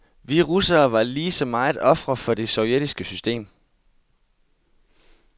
Vi russere var lige så meget ofre for det sovjetiske system.